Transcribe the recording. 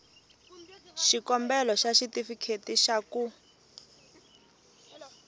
xikombelo xa xitifiketi xa ku